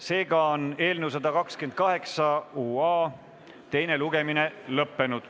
Seega on eelnõu 128 UA teine lugemine lõpetatud.